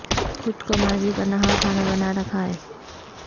خود کو ماضی کا نہاں خانہ بنا رکھا ہے